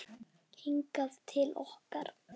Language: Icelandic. Hingað til okkar?